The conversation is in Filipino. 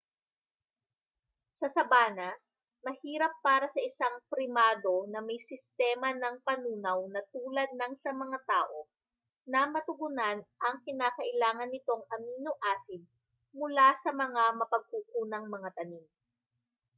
sa sabana mahirap para sa isang primado na may sistema ng panunaw na tulad nang sa mga tao na matugunan ang kinakailangan nitong amino-acid mula sa mga mapagkukunang mga tanim